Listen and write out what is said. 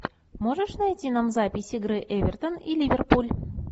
можешь найти нам запись игры эвертон и ливерпуль